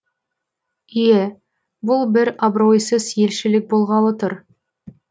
ие бұл бір абыройсыз елшілік болғалы тұр